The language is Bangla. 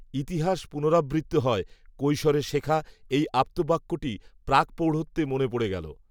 ইতিহাস পুনরাবৃত্ত হয়, কৈশোরে শেখা, এই, আপ্তবাক্যটি, প্রাকপ্রৌঢ়ত্বে মনে পড়ে গেল